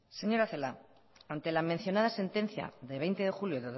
señora celaá ante la mencionada sentencia de veinte de julio